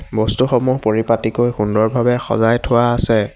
বস্তুসমূহ পৰিপাতিকৈ সুন্দৰ ভাৱে সজাই থোৱা আছে।